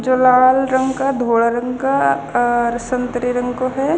जो लाल रंग का घोला रंग का अर संतरी रंग को ह.